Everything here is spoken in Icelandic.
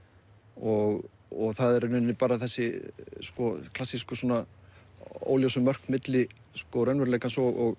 og og það er í rauninni bara þessi klassísku óljósu mörk milli raunveruleikans og